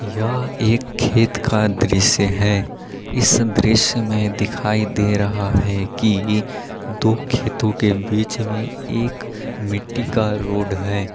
यह एक खेत का दृश्य है इस दृश्य में दिखाई दे रहा है कि एक दो खेतों के बीच एक मिट्टी का रोड है।